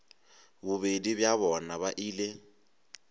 bobedi bja bona ba ile